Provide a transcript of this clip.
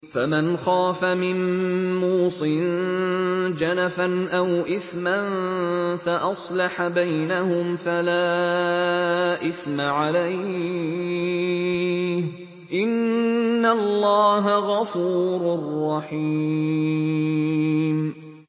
فَمَنْ خَافَ مِن مُّوصٍ جَنَفًا أَوْ إِثْمًا فَأَصْلَحَ بَيْنَهُمْ فَلَا إِثْمَ عَلَيْهِ ۚ إِنَّ اللَّهَ غَفُورٌ رَّحِيمٌ